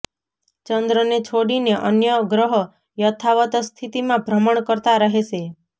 ચંદ્રને છોડીને અન્ય ગ્રહ યથાવત સ્થિતિમાં ભ્રમણ કરતા રહેશે